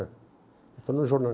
Estou no jornal.